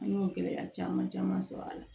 An y'o gɛlɛya caman caman sɔrɔ a la